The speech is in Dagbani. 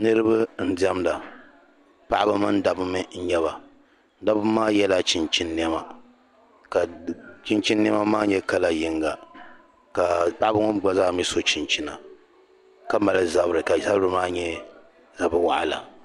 Niriba n-diɛmda paɣiba mini dabba mi n-nyɛ ba dabba maa yɛla chinchin’ nɛma ka chinchin’ nɛma maa nyɛ kala yiŋga ka paɣiba mi gba zaa mi so chinchina ka mali zabiri ka zabiri nyɛ zab’ waɣila